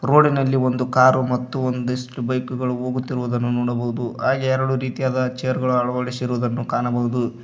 ರೋಡಿ ನಲ್ಲಿ ಒಂದು ಕಾರು ಮತ್ತು ಒಂದಿಷ್ಟು ಬೈಕ್ ಗಳು ಹೋಗುತ್ತಿರುದನ್ನು ನೋಡಬಹುದು ಹಾಗೆ ಎರಡು ರೀತಿಯಾದ ಚೇರ ಗಳು ಅಳವಡಿಸಿರುದನ್ನು ಕಾಣಬಹುದು.